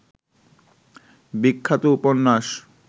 বিখ্যাত উপন্যাস